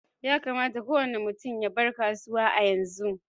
Yakamata kowani mutum ya bar kasuwa a yanzu.